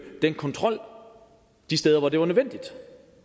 den kontrol de steder hvor det var nødvendigt